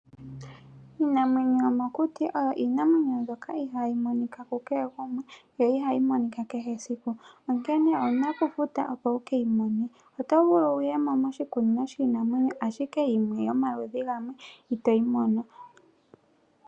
Iinamwenyo yomokuti oyo Iinamwenyo mbyoka ihayi monika ku kehe gumwe, yo ihayi monika kehe esiku. Onkene owu na oku futa opo wu keyi mone, oto vulu wuye mo moshikunino shiinamwenyo ashike yimwe yomaludhi gamwe ito yi mono.